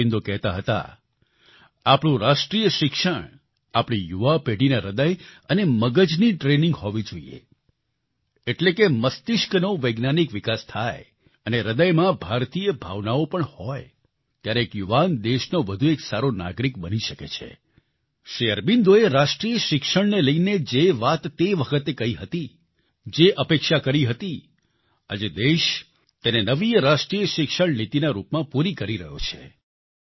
શ્રી અરબિંદો કહેતા હતા આપણું રાષ્ટ્રિય શિક્ષણ આપણી યુવા પેઢીના હ્રદય અને મગજની ટ્રેનિંગ હોવી જોઈએ એટલે કે મસ્તિષ્કનો વૈજ્ઞાનિક વિકાસ થાય અને હ્રદયમાં ભારતીય ભાવનાઓ પણ હોય ત્યારે એક યુવાન દેશનો વધુ એક સારો નાગરિક બની શકે છે શ્રી અરબિંદોએ રાષ્ટ્રિય શિક્ષણને લઈને જે વાત તે વખતે કહી હતી જે અપેક્ષા કરી હતી આજે દેશ તેને નવી રાષ્ટ્રિય શિક્ષણ નીતિના રૂપમાં પૂરી કરી રહ્યો છે